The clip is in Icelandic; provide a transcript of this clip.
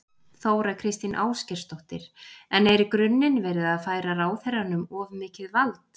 Þóra Kristín Ásgeirsdóttir: En er í grunninn verið að færa ráðherranum of mikið vald?